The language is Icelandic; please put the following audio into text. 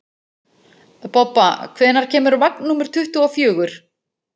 Bobba, hvenær kemur vagn númer tuttugu og fjögur?